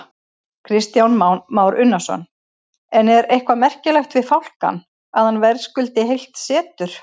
Kristján Már Unnarsson: En er eitthvað merkilegt við fálkann, að hann verðskuldi heilt setur?